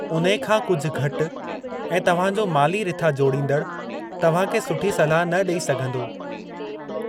उन्हे खां कुझु घटि ऐं तव्हां जो माली रिथा जोड़ींदड़ु तव्हां खे सुठी सलाह न ॾेई सघंदो।